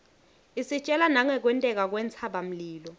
isitjela nangekwenteka kwentsaba mlilo